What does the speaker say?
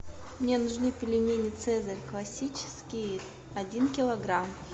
мне нужны пельмени цезарь классические один килограмм